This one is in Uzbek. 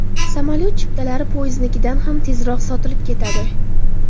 Samolyot chiptalari poyezdnikidan ham tezroq sotilib ketadi.